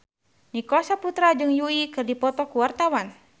Nicholas Saputra jeung Yui keur dipoto ku wartawan